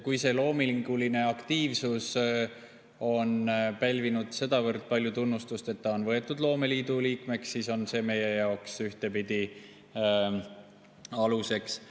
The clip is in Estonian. Kui see loominguline aktiivsus on pälvinud sedavõrd palju tunnustust, et inimene on võetud loomeliidu liikmeks, siis on see meie jaoks ühtpidi aluseks.